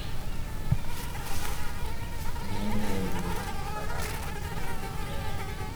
Ng'enyne, wuoth e baraf ok nyal dhi maber.